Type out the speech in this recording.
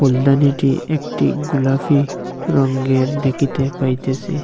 ফুলদানিটি একটি গুলাফি রঙ্গের দেখিতে পাইতেসি।